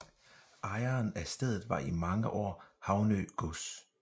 Ejeren af stedet var i mange år Havnø gods